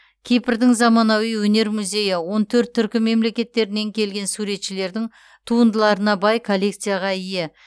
кипрдің заманауи өнер музейі он төрт түркі мемлекеттерінен келген суретшілердің туындыларына бай коллекцияға ие